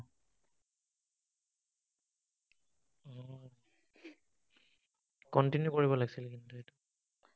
continue কৰিব লাগিছিল, কিন্তু, এইটো